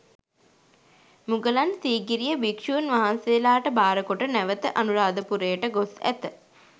මුගලන් සීගිරිය භික්ෂූන් වහන්සේලාට භාරකොට නැවත අනුරාධපුරයට ගොස් ඇත.